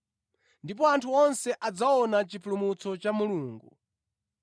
Ndipo anthu onse adzaona chipulumutso cha Mulungu.”